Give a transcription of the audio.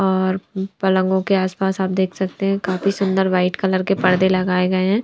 और पलंगों के आसपास आप देख सकते हैं काफी सुंदर व्हाइट कलर के पर्दे लगाए गए हैं।